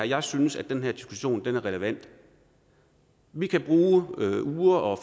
jeg synes at den her diskussion er relevant vi kan bruge uger og